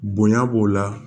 Bonya b'o la